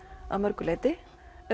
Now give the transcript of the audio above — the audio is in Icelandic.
að mörgu leyti